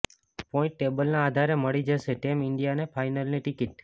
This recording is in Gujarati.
પોઈન્ટ ટેબલના આધારે મળી જશે ટીમ ઈન્ડિયાને ફાઇનલની ટિકિટ